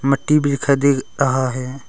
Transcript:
मट्टी भी दिखाई दे रहा है।